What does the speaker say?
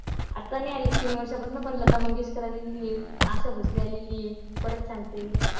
आत्ता नाही आलीत तीन वर्षांपासनं पण लता मंगेशकर आलेली आहे. अशा भोसले आलेली आहे. परत सांगते.